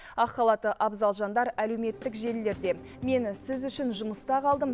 ақ халатты абзал жандар әлеуметтік желілерде мен сіз үшін жұмыста қалдым